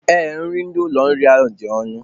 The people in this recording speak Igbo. Ee, nri ndị ụlọ nri mọlụ a dị ọnụ